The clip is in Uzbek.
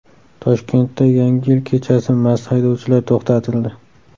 Toshkentda Yangi yil kechasi mast haydovchilar to‘xtatildi.